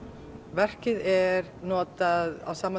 verkið er notað á sama